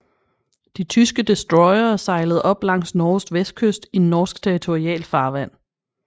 De tyske destroyere sejlede op langs Norges vestkyst i norsk territorialfarvand